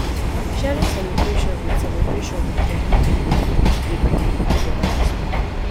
sharing celebration with celebration with genuine pipo dey bring pipo together as one